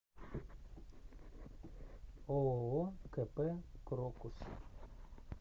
ооо кп крокус